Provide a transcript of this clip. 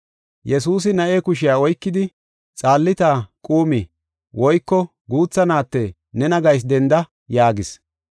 Yesuusi na7e kushiya oykidi, “Xaalita, quumi” (Guutha naatte, nena gayis denda) yaagis.